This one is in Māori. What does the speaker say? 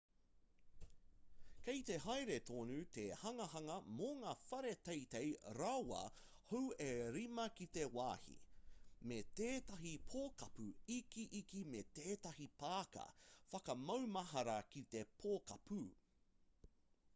kei te haere tonu te hanganga mō ngā whare teitei rawa hou e rima ki te wāhi me tētahi pokapū ikiiki me tētahi pāka whakamaumahara ki te pokapū